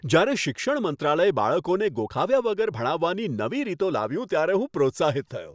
જ્યારે શિક્ષણ મંત્રાલય બાળકોને ગોખાવ્યા વગર ભણાવવાની નવી રીતો લાવ્યું ત્યારે હું પ્રોત્સાહિત થયો.